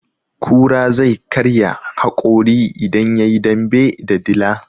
Kura zai karya haƙori idan yayi dambe da dila.